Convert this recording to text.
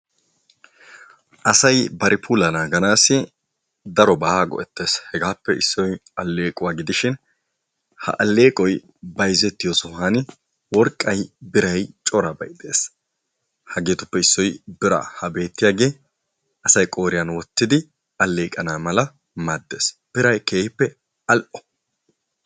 Asay bari puulaa naaganassi daroba go'ettees. Hegaape issoy alleequwa gidishin, ha alleeqoy bayzzettiyo sohuwan worqqay, biiray corabay de'ees. Hageetupe issoy biira, ha beetiyage asaay qooriyan wottidi alleeqana malaa maadees. Biiray keehippe al"o.